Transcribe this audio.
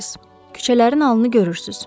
Küçələrin halını görürsüz.